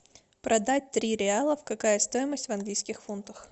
продать три реалов какая стоимость в английских фунтах